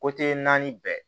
naani bɛɛ